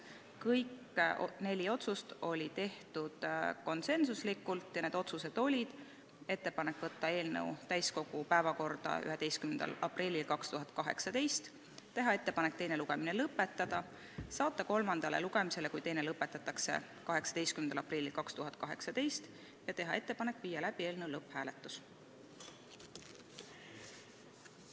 Kõik neli otsust tehti konsensuslikult ja need otsused olid järgmised: tehti ettepanekud saata eelnõu täiskogu päevakorda 11. aprilliks 2018, teine lugemine lõpetada ja saata eelnõu kolmandale lugemisele, kui teine lõpetatakse, 18. aprilliks 2018 ning panna eelnõu lõpphääletusele.